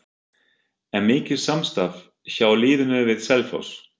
Er mikið samstarf hjá liðinu við Selfoss?